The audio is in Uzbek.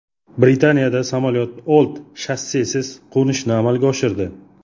Britaniyada samolyot old shassisiz qo‘nishni amalga oshirdi .